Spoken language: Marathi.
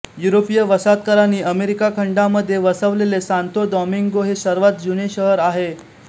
युरोपीय वसाहतकारांनी अमेरिका खंडामध्ये वसवलेले सांतो दॉमिंगो हे सर्वात जुने शहर आहे